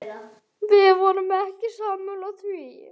Við vorum ekki sammála því.